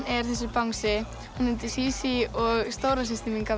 er þessi bangsi hún heitir Sísí og stóra systir mín gaf